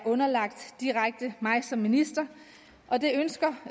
underlagt mig som minister og det ønsker